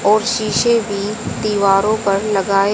और शीशे भी दीवारो पर लगाए--